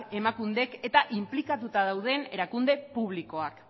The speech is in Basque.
emakunde eta inplikatuta dauden erakunde publikoak